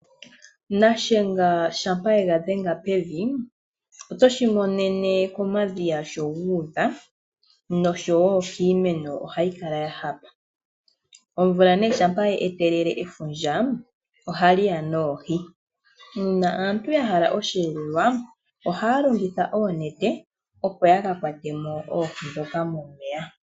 Nashenga shampa yega dhenga pevi otoshi monene komadhiya sho guudha noshowo kiimeno ohayi kala ya hapa. Omvula nee shampa ye etelele efundja ohali ya noohi. Naantu ya hala omweelelo ohaya longitha oonete opo yaka kwatemo oohi dhoka momeya.